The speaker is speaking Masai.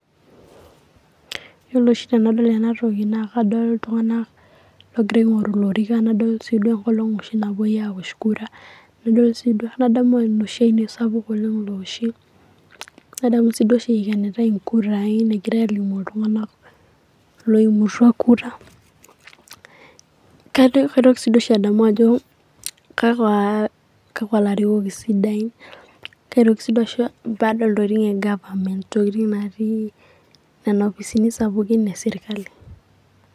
Yiolo oshi tenadol ena toki naa kadol iltung'anak loogira aing'oru ilorikan, naa kadol sii duo engolong' oshi napoe aosh kura, nadol nadamu sii emashini sapuk naoshie, nadamu sii oshi eikenitae engurai, egirae aalimu iltung'anak loimutwa kura, kadol kaitoki sii oshi adol ajo kakwa larikok isidain, kaitoki kakwa baada Intokitin egapament, entokitin' natii Nena opisini sapukin esirkali.